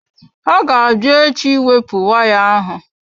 Ha ga-abịa echi iwepụ waya ahụ.